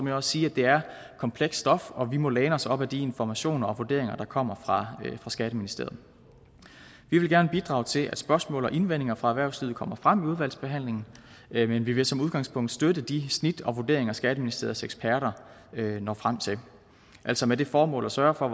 jeg også sige at det er komplekst stof og at vi må læne os op ad de informationer og vurderinger der kommer fra skatteministeriet vi vil gerne bidrage til at spørgsmål og indvendinger fra erhvervslivet kommer frem i udvalgsbehandlingen men vi vil som udgangspunkt støtte de snit og vurderinger skatteministeriets eksperter når frem til altså med det formål at sørge for